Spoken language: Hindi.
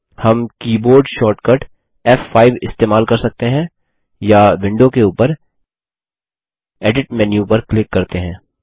हम कीबोर्ड शॉर्टकट फ़5 इस्तेमाल कर सकते हैं या विंडो के उपर एडिट मेन्यु पर क्लिक करते हैं